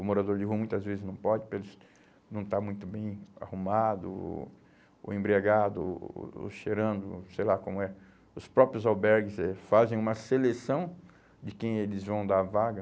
O morador de rua muitas vezes não pode, porque eles não está muito bem arrumado, ou ou embriagado, ou, ou, ou cheirando, sei lá como é. Os próprios albergues eh fazem uma seleção de quem eles vão dar vaga.